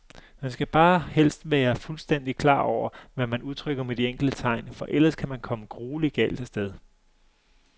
Man skal bare helst være fuldstændigt klar over, hvad man udtrykker med de enkelte tegn, for ellers kan man komme grueligt galt af sted.